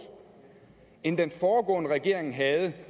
end den foregående regering havde den